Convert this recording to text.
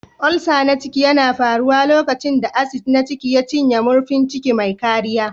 Ulcer na ciki yana faruwa lokacin da acid na ciki ya cinye murfin ciki mai kariya.